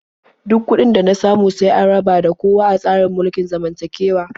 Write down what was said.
Duk kuɗin da na samu sai an raba da kowa a tsarin mulkin zamantakewa.